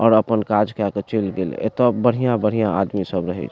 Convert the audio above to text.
और अपन काज कैय के आगे चेल गइल एता बढ़िया-बढ़िया आदमी सब रहे --